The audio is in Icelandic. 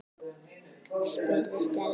spurði Stella.